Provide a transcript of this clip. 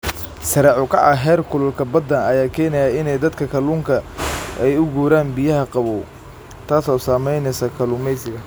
Sare u kaca heerkulka badda ayaa keenaya in dadka kalluunka ay u guuraan biyaha qabow, taas oo saameynaysa kalluumeysiga.